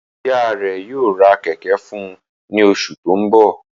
Iya rẹ yoo ra kẹ̀kẹ́ fun u ni osu to nbo